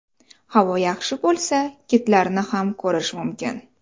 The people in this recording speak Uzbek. Havo yaxshi bo‘lsa, kitlarni ham ko‘rish mumkin.